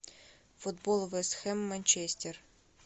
футбол вест хэм манчестер